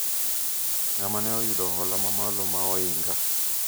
ng'ama ne oyudo hola mamalo ma oinga